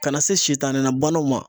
Ka na se sitani na banaw ma